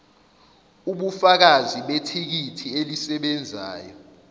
ubufakazi bethikithi elisebenzayo